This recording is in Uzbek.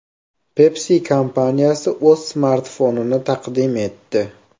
Pepsi kompaniyasi o‘z smartfonini taqdim etdi.